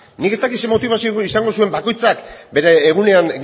nik ez dakit zer motibazio izango zuen bakoitzak bere egunean